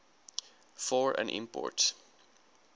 for an import